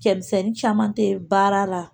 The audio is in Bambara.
Cɛmisɛnnin caman tɛ baara la